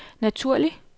naturlig